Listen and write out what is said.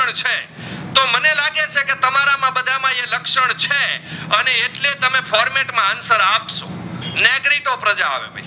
તમે format માં answer અપસો નેગરીતો પ્રજા આવે